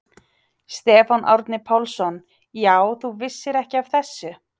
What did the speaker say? Stefán Árni Pálsson: Já, þú vissir ekki af þessu?